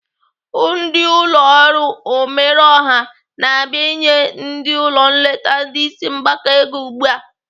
Ndị ụlọ ọrụ omerọọha na-abịa inye ndị ụlọ nleta ndị isi mgbaka ego ugbu a.